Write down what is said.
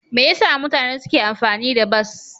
Me yasa mutane suke amfani da bas?